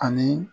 Ani